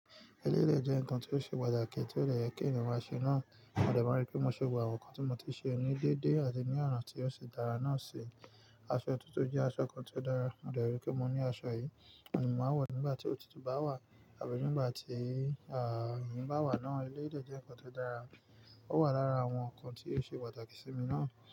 Eléyi de jẹ́ ǹkan tió ṣe pàtàkì tí ó dè yẹ kí ènìyàn ma ṣe náà. Mo dẹ̀ ma n rí pé mo ṣe gbogbò àwọn nǹkan tí mo ti ṣe ní déédé àti ní ona tí ó ṣi dára náà ṣi. Aṣọ otutu jẹ́ aṣọ kan tí ó dára, mo dẹ̀ rí pé mo ní aṣọ yìí, òun ni màá wọ̀ nígbà tí òtítù bá wà àbí nígbà tí àáà yínyin bá wà náà. Eléyi de jẹ́ ǹkan tó dára, ó wà lára àwọn ǹkan tí ó ṣe pàtàkì sí mi náà.